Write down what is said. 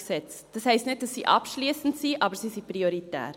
Das heisst nicht, dass sie abschliessend sind, aber sie sind prioritär.